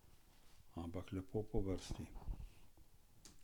Ampak lepo po vrsti.